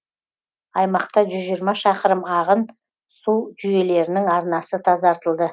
аймақта жүз жиырма шақырым ағын су жүйелерінің арнасы тазартылды